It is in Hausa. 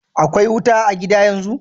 Akwai wuta a' gida yanzu?